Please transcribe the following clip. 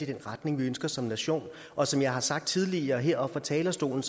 den retning vi ønsker som nation og som jeg har sagt tidligere heroppe fra talerstolen